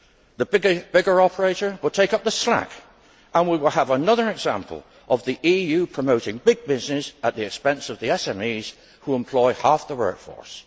The bigger operator will take up the slack and we will have another example of the EU promoting big business at the expense of the SMEs who employ half the workforce.